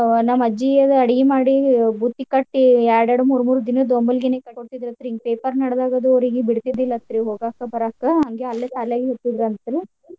ನಮ್ಮ ಅಜ್ಜಿ ಅದು ಅಡಗಿ ಮಾಡಿ ಬುತ್ತಿ ಕಟ್ಟಿ ಎರ್ಡ್ ಎರ್ಡ್ ಮೂರ್ ಮೂರ್ ದಿನದ್ದ್ ಒಮ್ಮಿಲ್ಗನೆ ಕಟ್ಟಿ ಕೊಡ್ತಿದ್ರ ಅಂತ್ರಿ ಹಿಂಗ paper ನಡದಾಗದು ಅವ್ರಿಗಿ ಬಿಡ್ತಿದ್ದಿಲ್ಲ ಅಂತ್ರಿ ಹೋಗಾಕ ಬರಾಕ ಹಂಗೆ ಅಲ್ಲೆ ಸಾಲ್ಯಾಗ ಇರ್ತಿದ್ರ ಅಂತ್ರಿ.